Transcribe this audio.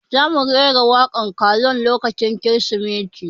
Za mu rera waƙan karol lokacin kirismeti